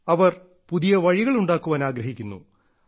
അവർ പുതിയ വഴികൾ ഉണ്ടാക്കാൻ ആഗ്രഹിക്കുന്നു